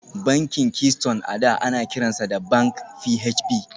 Bankin Keystone a da ana kiransa da Bank PHB